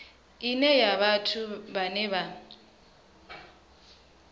ine khayo vhathu vhane vha